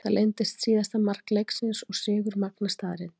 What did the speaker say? Það reyndist síðasta mark leiksins og sigur Magna staðreynd.